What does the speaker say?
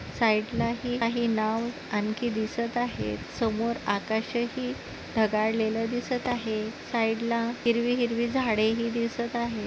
साइडला आहे नाव आणखी दिसत आहे समोर आकाशही ढगाळलेल दिसत आहे साइडला हिरवी-हिरवी झाडेही दिसत आहे.